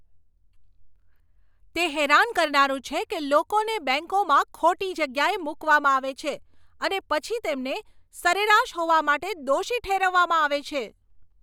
તે હેરાન કરનારું છે કે લોકોને બેંકોમાં ખોટી જગ્યાએ મૂકવામાં આવે છે, અને પછી તેમને સરેરાશ હોવા માટે દોષી ઠેરવવામાં આવે છે.